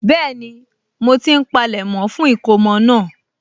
Bẹ́ẹ̀ni, mo ti ń palẹ̀mọ́ fún ìkómọ náà